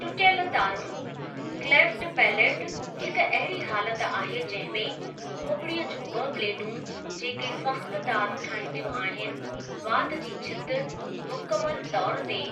टुटियलु तारूं (cleft palate) हिकु अहिड़ी हालत आहे जंहिं में खोपड़ीअ जियूं ब॒ प्लेटूं जेके सख़्त तारूं ठाहींदियूं आहिनि ( वात जी छिति) मुकमलु तौरु ते